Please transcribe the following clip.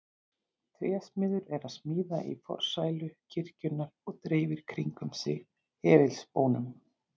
Trésmiður er að smíða í forsælu kirkjunnar og dreifir kringum sig hefilspónum.